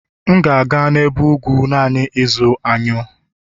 M ga-aga n'ebe ugwu naanị ịzụrụ anyụ